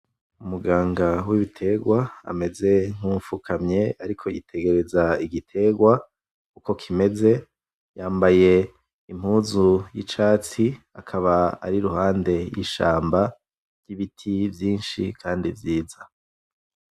Umuganga w'ibiterwa ameze nkuwufukamye ariko yitegereza igiterwa uko kimeze , yambaye impuzu y'icatsi, akaba ari iruhande y'ishamba n'ibiti vyinshi kandi vyiza .